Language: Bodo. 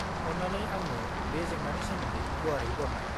-अन्नानै आंनो बे जेंनानि सोमोन्दै गुवारै बरनाय।